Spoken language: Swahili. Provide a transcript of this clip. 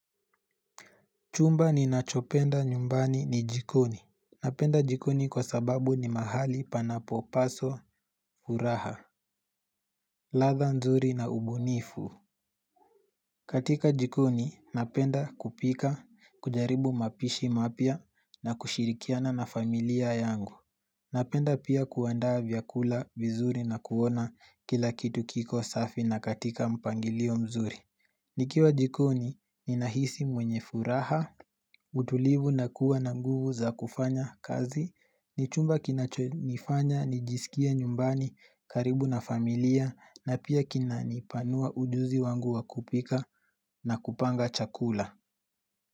Chumba ninachopenda nyumbani ni jikoni. Napenda jikoni kwa sababu ni mahali panapo paswa furaha. Ladha nzuri na ubunifu. Katika jikoni, napenda kupika, kujaribu mapishi mapya na kushirikiana na familia yangu. Napenda pia kuandaa vyakula vizuri na kuona kila kitu kiko safi na katika mpangilio mzuri. Nikiwa jikoni, ninahisi mwenye furaha. Utulivu na kuwa na nguvu za kufanya kazi ni chumba kinachonifanya, nijisikie nyumbani, karibu na familia na pia kina nipanua ujuzi wangu wa kupika na kupanga chakula.